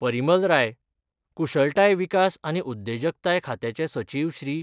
परिमल राय, कुशळताय विकास आनी उद्देजकताय खात्याचे सचिव श्री.